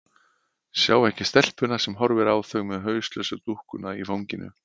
Sjá ekki stelpuna sem horfir á þau með hauslausu dúkkuna í fanginu.